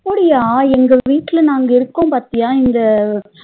அப்டியா எங்க வீட்டுல நாங்க இருக்கோம் பாத்தியா இங்க